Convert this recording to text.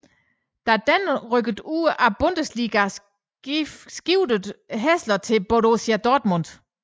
Da denne rykkede ud af Bundesligaen skiftede Hässler til Borussia Dortmund